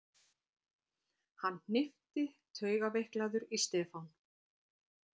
Hann hnippti taugaveiklaður í Stefán.